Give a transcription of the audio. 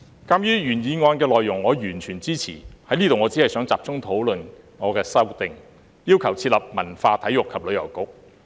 鑒於我完全支持原議案的內容，我只想在此集中討論我的修正案，要求設立"文化、體育及旅遊局"。